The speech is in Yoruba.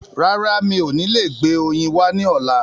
Rárá, mi ò ní lè gbé oyin wá ní ọ̀la.